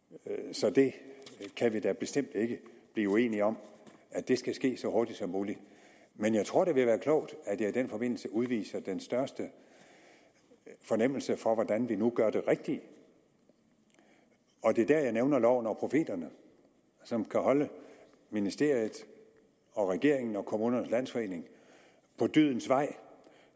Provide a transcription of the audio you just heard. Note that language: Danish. så det kan vi da bestemt ikke blive uenige om skal ske så hurtigt som muligt men jeg tror det vil være klogt at jeg i den forbindelse udviser den største fornemmelse for hvordan vi nu gør det rigtige og det er der jeg nævner loven og profeterne som kan holde ministeriet og regeringen og kommunernes landsforening på dydens vej